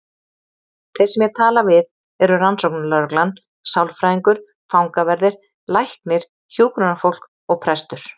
Þeir sem ég tala við eru rannsóknarlögreglan, sálfræðingur, fangaverðir, læknir, hjúkrunarfólk og prestur.